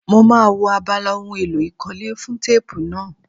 Mo máa wo abala ohun èlò ìkọ́lé fún téèpù náà.